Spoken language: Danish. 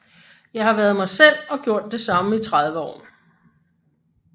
Jeg har været mig selv og gjort det samme i 30 år